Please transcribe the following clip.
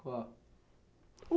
Qual?